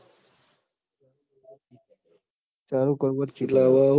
ચાલુ કરવું જ છ